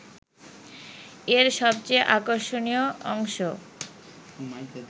এর সবচেয়ে আকর্ষণীয় অংশ